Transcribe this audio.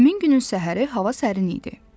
Həmin günün səhəri hava sərin idi.